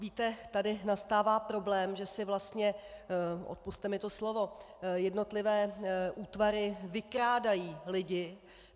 Víte, tady nastává problém, že si vlastně - odpusťte mi to slovo - jednotlivé útvary vykrádají lidi.